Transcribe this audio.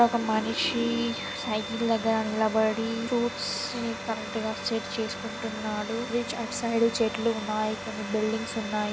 ఒక మనిషి సైకిల్ దగ్గర నిలబడి ఫ్రూట్స్ ని కరెక్ట్ గా సెట్ చేసుకుంటున్నాడు. బ్రిడ్జ్ అటు సైడ్ చెట్లు ఉన్నాయి. కొన్ని బిల్డింగ్స్ ఉన్నాయి.